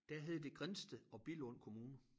Der hed det Grindsted og Billund Kommuner